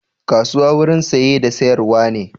Kasuwa wurin saye da sayar wa ne